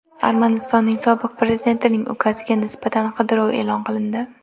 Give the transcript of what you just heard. Armanistonning sobiq prezidentining ukasiga nisbatan qidiruv e’lon qilindi.